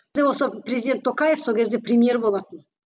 президент токаев сол кезде премьер болатын